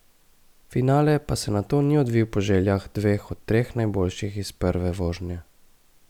Finale pa se nato ni odvil po željah dveh od treh najboljših iz prve vožnje.